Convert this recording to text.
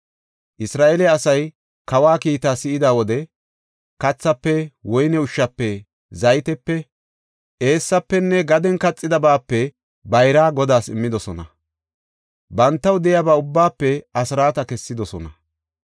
Isra7eele asay kawa kiitaa si7ida wode kathaafe, woyne ushshafe, zaytiyape, eessafenne gaden kaxidabaape bayraa Godaas immidosona; bantaw de7iyaba ubbaafe asraata kessidosona.